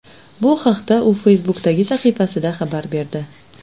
Bu haqda u Facebook’dagi sahifasida xabar berdi .